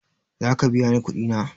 Zaka biya ni kuɗi na?